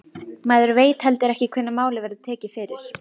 Maður veit heldur ekki hvenær málið verður tekið fyrir.